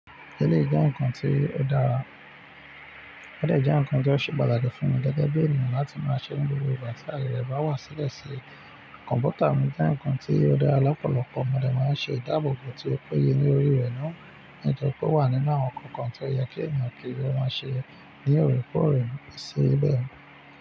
Eleyii jẹ́ ǹnkan tí ó dára? Ódẹ̀ jẹ́ ǹnkan tó ṣe pàtàkì fún mi gẹ́gẹ́ bí ènìyàn láti máa ṣe ni gbogbo ìgbà tí ayẹ re bá wá sílẹ̀ sí. Kọ̀m̀pútà mi jẹ́ ǹnkan tí ó dára lọ́pọ̀lọpọ̀ mọdé máa ń ṣe ìdáàbòbò tí ó péye lórí rẹ̀ náà. Nítorí pé ó wà nínú àwọn ǹnkan kan tí ó yẹ kí ènìyàn ki o máa ṣe ní òrèkóòrè sí bẹ́ẹ̀